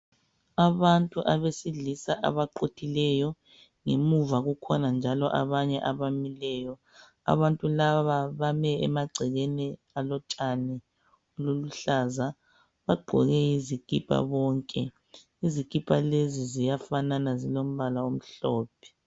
Abantu abesilisa abaquthileyo ngemuva kukhona njalo abamileyo abantu laba bame emaceleni alotshani obuluhlaza bagqoke izikipa bonke izikipa lezi ziyafanana zilombala omhlophe.